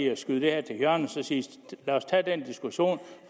at skyde det her til hjørne og sige lad os tage den diskussion